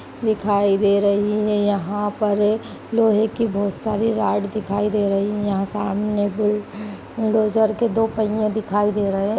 दिखाई दे रही है यहाँ पर लोहे की बोहोत सारी राड़ दिखाई दे रही हैं यहाँ सामने बुल डोजर के दो पहियें दिखाई दे रहे हैं ।